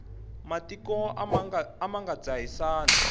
matiko a ma nga dzahisani